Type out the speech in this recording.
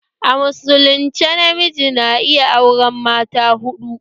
A musulunce namiji na iya auren mata huɗu